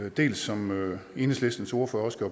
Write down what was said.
i dag som enhedslistens ordfører også